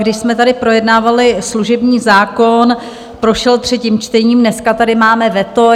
Když jsme tady projednávali služební zákon, prošel třetím čtením, dneska tady máme veto.